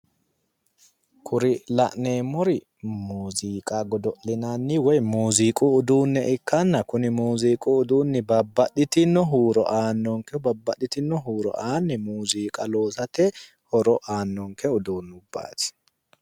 Kuri la'neemmori muuziiqa godo'linanni woyi muuziiqu uduunne ikkanna kuni muuziiqu uduunni babbaxxitinno huuro aannonke babbaxxitinno huuro aanni muuziiqa loosate horo aannonke uduunnubbaati.